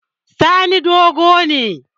Sani dogo ne